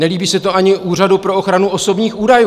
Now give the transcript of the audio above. Nelíbí se to ani Úřadu pro ochranu osobních údajů.